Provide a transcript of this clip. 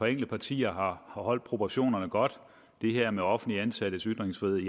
enkelte partier har holdt proportionerne godt det her med offentligt ansattes ytringsfrihed